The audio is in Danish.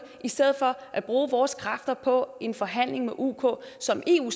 i stedet for at bruge vores kræfter på en forhandling med uk som eu